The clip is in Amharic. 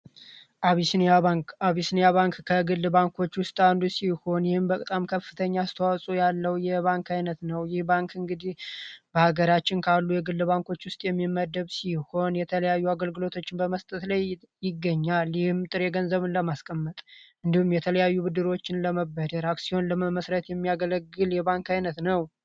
አቢሲኒያ ባንክ አቢሲኒያ ባንክ ከግል ባንኮች ውስጥ ይሆናል በጣም ከፍተኛ ያለው የባንክ አይነት ነው የባንክ እንግዲ በሀገራችን ካሉ የግል ባንኮች ውስጥ የሚመደብ ይሆን የተለያዩ አገልግሎቶችን በመስጠት ላይ ይገኛል የገንዘብን ለማስቀመጥ እንዲሁም የተለያዩ ብድሮችን ለመበደር አክሲዮን ለመመስረት የሚያገለግል የባንክ አቢሲኒያ ባንክ አቢሲኒያ ባንክ ከግል ባንኮች ውስጥ ይሆናል በጣም ከፍተኛ ያለው የባንክ አይነት ነው የባንክ እንግዲ በሀገራችን ካሉ የግል ባንኮች ውስጥ የሚመደብ ይሆን የተለያዩ አገልግሎቶችን በመስጠት ላይ ይገኛል የገንዘብን ለማስቀመጥ እንዲሁም የተለያዩ ብድሮችን ለመበደር አክሲዮን ለመመስረት የሚያገለግል የባንክ አይነት ነው።